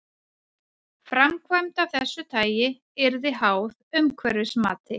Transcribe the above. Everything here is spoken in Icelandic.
Framkvæmd af þessu tagi yrði háð umhverfismati.